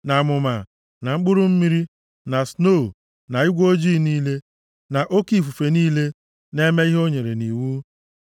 na amụma, na mkpụrụ mmiri, na snoo na igwe ojii niile, na oke ifufe niile na-eme ihe o nyere nʼiwu,